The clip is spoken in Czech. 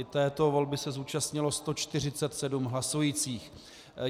I této volby se zúčastnilo 147 hlasujících.